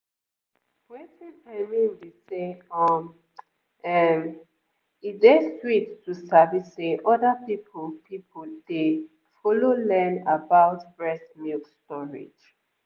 wetin i mean be say um ehm um e dey sweet to sabi say other people people dey follow learn about breast milk storage